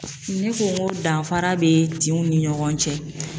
Ne ko n ko danfara be tinw ni ɲɔgɔn cɛ.